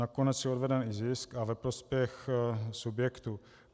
Nakonec je odveden i zisk a ve prospěch subjektu.